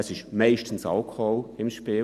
Es ist meistens Alkohol im Spiel.